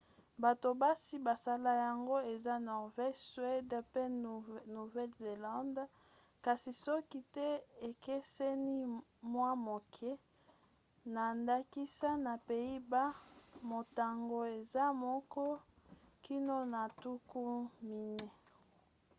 bato basi basala yango eza norvège suède pe nouvelle-zélande kasi soki te ekeseni mwa moke na ndakisa na pays-bas motango eza moko kino na tuku minei